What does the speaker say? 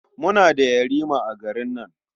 Muna da yarima a garin nan.